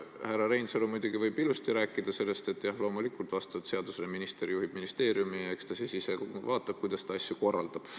Härra Reinsalu võib muidugi ilusasti rääkida sellest, et jah, loomulikult, vastavalt seadusele juhib ministeeriumi minister ja eks ta siis ise vaatab, kuidas asju korraldab.